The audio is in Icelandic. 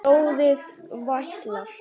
Blóðið vætlar.